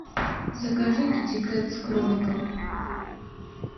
закажи китикет с кроликом